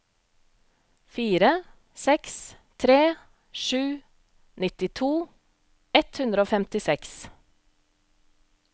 fire seks tre sju nittito ett hundre og femtiseks